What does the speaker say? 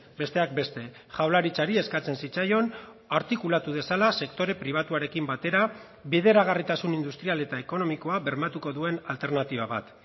besteak beste jaurlaritzari eskatzen zitzaion artikulatu dezala sektore pribatuarekin batera bideragarritasun industrial eta ekonomikoa bermatuko duen alternatiba bat